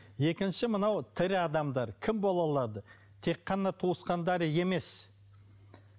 екінші мынау тірі адамдар кім бола алады тек қана туысқандары емес